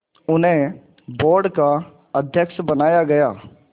उन्हें बोर्ड का अध्यक्ष बनाया गया